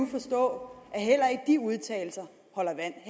forstå at heller ikke de udtalelser holder vand